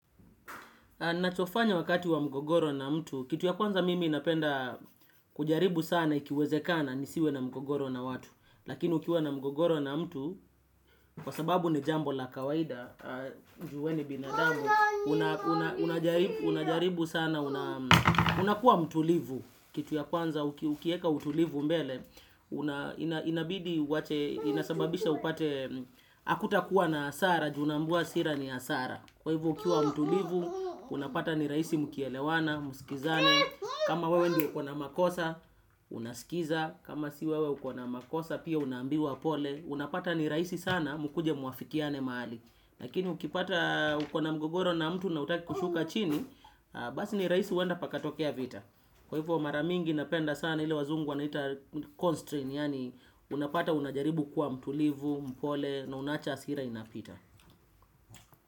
Nachofanya wakati wa mgogoro na mtu, kitu ya kwanza mimi napenda kujaribu sana ikiwezekana nisiwe na mgogoro na watu. Lakini ukiwa na mgogoro na mtu, kwa sababu ni jambo la kawaida, juu we ni binadamu, unajaribu sana, unakuwa mtulivu. Kitu ya kwanza ukieka utulivu mbele, inabidi wate, inasababisha upate, hakutakuwa na hasara, juu unaambiwa hasira ni hasara. Kwa hivyo ukiwa mtulivu, unapata ni rahisi mkielewana, msikilizane, kama wewe ndio ukona makosa, unasikiza, kama si wewe ukona makosa, pia unaambiwa pole, unapata ni rahisi sana mkuje muafikiane mahali. Lakini ukipata uko na mgogoro na mtu na hutaki kushuka chini, basi ni rahisi huenda pakatokea vita. Kwa hivyo mara mingi napenda sana ile wazungu wanaita constraint, yaani unapata unajaribu kwa mtulivu, mpole, na unaacha hasira inapita.